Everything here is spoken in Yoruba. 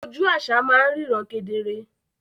Oju àṣà máa ń ríran kedere